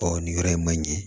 Ɔ nin yɔrɔ in ma ɲɛ